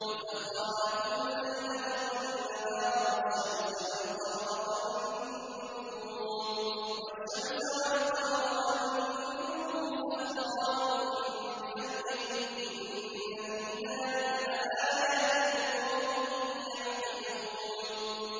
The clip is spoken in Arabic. وَسَخَّرَ لَكُمُ اللَّيْلَ وَالنَّهَارَ وَالشَّمْسَ وَالْقَمَرَ ۖ وَالنُّجُومُ مُسَخَّرَاتٌ بِأَمْرِهِ ۗ إِنَّ فِي ذَٰلِكَ لَآيَاتٍ لِّقَوْمٍ يَعْقِلُونَ